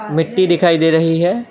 मिट्टी दिखाई दे रही हैं।